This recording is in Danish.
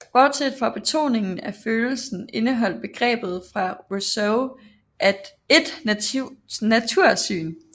Bortset fra betoningen af følelsen indeholdt begrebet for Rousseau et natursyn